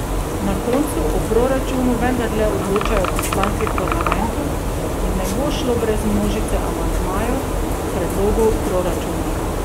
Na koncu o proračunu vendarle odločajo poslanci v parlamentu in ne bo šlo brez množice amandmajev k predlogu proračuna.